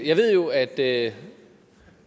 jeg ved jo at